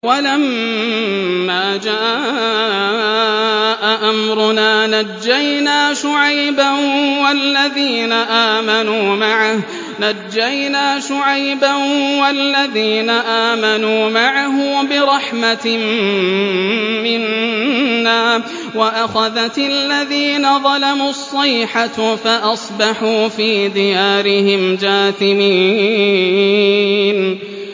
وَلَمَّا جَاءَ أَمْرُنَا نَجَّيْنَا شُعَيْبًا وَالَّذِينَ آمَنُوا مَعَهُ بِرَحْمَةٍ مِّنَّا وَأَخَذَتِ الَّذِينَ ظَلَمُوا الصَّيْحَةُ فَأَصْبَحُوا فِي دِيَارِهِمْ جَاثِمِينَ